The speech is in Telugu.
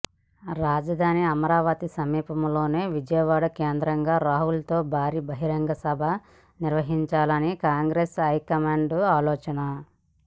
రాజధాని అమరావతి సమీపంలోనే విజయవాడ కేంద్రంగా రాహుల్ తో భారీ బహిరంగ సభ నిర్వహించాలని కాంగ్రెస్ హైకమాండ్ ఆలోచన